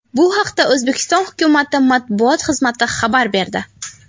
Bu haqda O‘zbekiston hukumati matbuot xizmati xabar berdi .